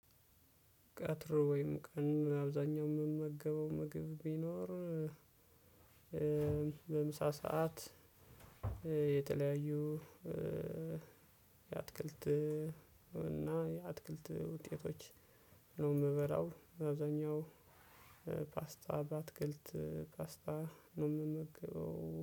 ቀጥሮ ወይም ቀን አብዛኛው የምመገበው ምግብ ብኖር በምሳ ሰዓት የተለያዩ የአትክልት እና የአትክልት ውጤቶች ነው የምበላው። አብዛኛው ፓስታ በአትክልት ፓስታ ነው የምመገበው